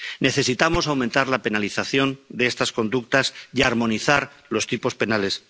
Necesitamos aumentar la penalización de estas conductas y armonizar los tipos penales.